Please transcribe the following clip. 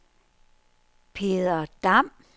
Peder Dam